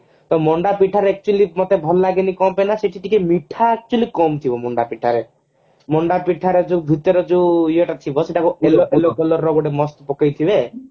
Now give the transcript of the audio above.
ତ ମଣ୍ଡା ପିଠାରେ actually ମତେ ଭଲ ଲାଗେନି କଣ ପାଇଁ ନା ସେଠି ଟିକେ ମିଠା actually କମ ଥିବ ମଣ୍ଡା ପିଠାରେ ମଣ୍ଡା ପିଠାରେ ଭିତରେ ଯୋଉ ଇଏ ଟା ଥିବ ସେଟା କୁ ଅଲଗା color ର ଗୋଟେ mast ପକେଇଥିବେ